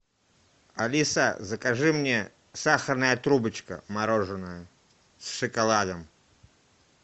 алиса закажи мне сахарная трубочка мороженое с шоколадом